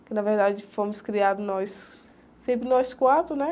Porque, na verdade, fomos criados nós, sempre nós quatro, né?